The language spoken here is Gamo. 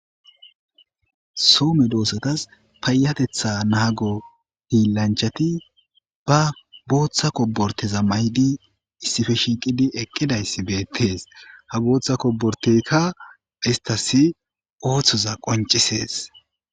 Soome doossatas payatetha naago hiillanchati ba booththa koborteza maydi issife shiiqidi eqqidayssi beettees ha booththa koborteykka istas ooththoza qoncisees.